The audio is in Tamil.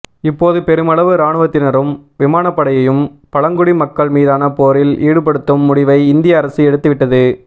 இப்போது பெருமளவு இராணுவத்தினரும் விமானப்படையையும் பழங்குடி மக்கள் மீதான போரில் ஈடுபடுத்தும் முடிவை இந்திய அரசு எடுத்து விட்டது